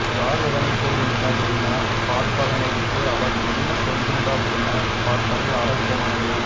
யார் எதனைக் கூறுகின்றனர் எனப் பார்ப்பதனை விட்டு அவர் என்ன சொல்கின்றார் எனப் பார்ப்பதே ஆரோக்யமானது